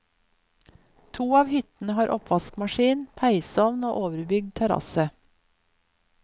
To av hyttene har oppvaskmaskin, peisovn og overbygd terasse.